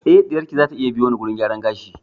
Eh ɗiyar ki zata iya biyo ni wurin gyaran gashi